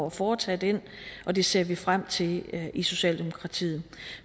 at foretage den og det ser vi frem til i socialdemokratiet